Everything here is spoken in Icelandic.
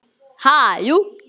Ha, jú.